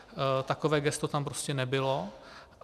Takové gesto tam prostě nebylo.